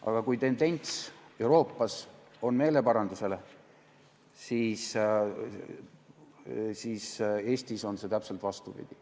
Aga kui Euroopas on tendents meeleparanduse poole, siis Eestis on see täpselt vastupidi.